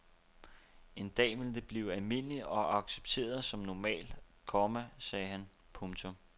En dag vil det blive almindeligt og accepteret som normalt, komma sagde han. punktum